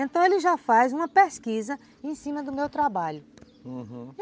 Então ele já faz uma pesquisa em cima do meu trabalho, uhum.